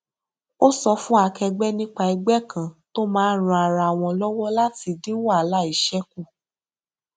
ó sọ fún akẹgbẹ nípa ẹgbẹ kan tó máa ran ara wọn lọwọ láti dín wàhálà iṣẹ kù